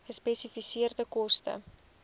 gespesifiseerde koste